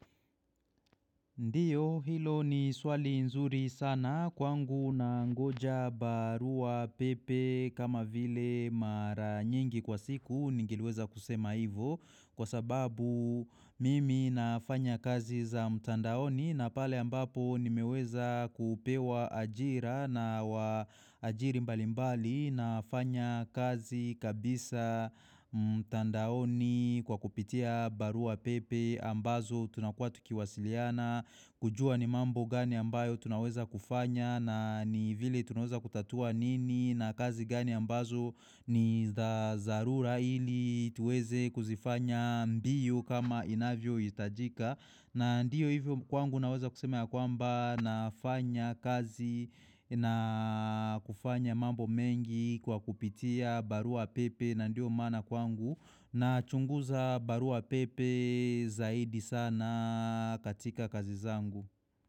Ndiyo hilo ni swali nzuri sana kwangu nangoja barua pepe kama vile mara nyingi kwa siku ningeliweza kusema hivo kwa sababu mimi nafanya kazi za mtandaoni na pale ambapo nimeweza kupewa ajira na waajiri mbali mbali nafanya kazi kabisa mtandaoni kwa kupitia barua pepe ambazo tunakuwa tukiwasiliana. Kujua ni mambo gani ambayo tunaweza kufanya na ni vile tunaweza kutatua nini na kazi gani ambazo ni za tharura ili tuweze kuzifanya mbio kama inavyohitajika na ndiyo hivyo kwangu naweza kusema ya kwamba nafanya kazi na kufanya mambo mengi kwa kupitia barua pepe na ndio maana kwangu nachunguza barua pepe zaidi sana katika kazi zangu.